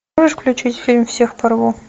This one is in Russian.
можешь включить фильм всех порву